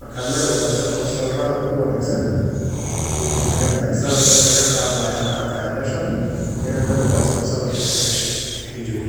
marka Mel wanagsan o sawer kuficana wey tagan tahay sawar in laga qadaya an arkaya meel wangsan o ay sawar kugashay ay joogto.